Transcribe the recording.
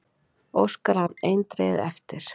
Óskar hann eindregið eftir að